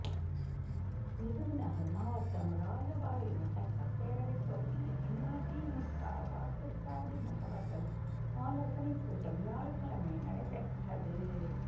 விருதுநகா் மாவட்டம் ராஜபாளையம் சட்டப்பேரவைத் தொகுதி அதிமுக வாக்குச்சாவடி முகவா்கள் ஆலோசனை கூட்டம் வியாழக்கிழமை நடைபெற்றது